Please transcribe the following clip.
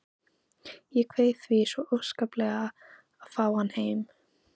Ég kveið því svo óskaplega að fá hann heim.